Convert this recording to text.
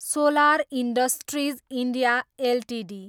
solar industries India Ltd